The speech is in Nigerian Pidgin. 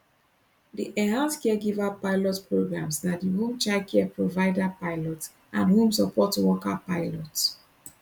di enhanced caregiver pilot prgrams na di home child care provider pilot and home support worker pilot